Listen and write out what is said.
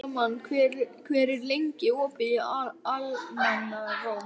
Salómon, hvað er lengi opið í Almannaróm?